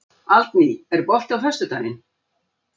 Aldný, er bolti á föstudaginn?